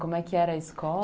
Como é que era a escola?